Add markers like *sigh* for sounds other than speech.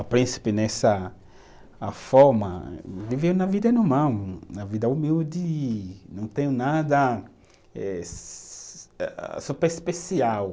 *unintelligible* Nessa a forma viver uma vida normal, um uma vida humilde e não tenho nada eh *noise* super especial.